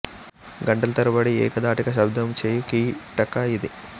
గంటల తరబడి ఏక ధాటిగా శబ్ధము చేయు కీటక ఇది